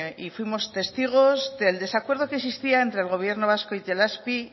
y fuimos testigos del desacuerdo que existía entre el gobierno vasco e itelazpi